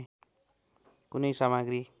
कुनै समाग्री